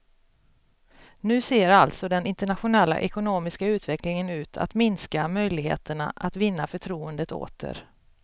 Nu ser alltså den internationella ekonomiska utvecklingen ut att minska möjligheterna att vinna förtroendet åter.